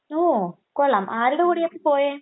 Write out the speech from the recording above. ഉവ്വോ. കൊള്ളാം. ആരുടെ കൂടെയാണ് പോയെ?